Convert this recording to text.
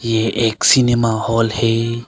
ये एक cinema hall है।